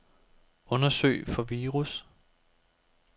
Undersøg for virus.